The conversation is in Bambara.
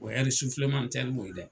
O hɛri sufilematɛri mun ye dɛ.